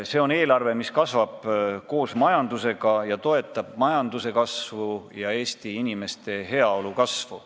See on eelarve, mis kasvab koos majandusega ja toetab majanduse kasvu ja Eesti inimeste heaolu kasvu.